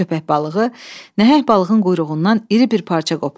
Köpək balığı nəhəng balığın quyruğundan iri bir parça qopardı.